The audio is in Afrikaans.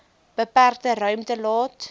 beperkte ruimte laat